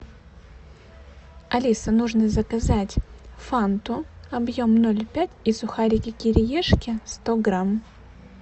алиса нужно заказать фанту объем ноль пять и сухарики кириешки сто грамм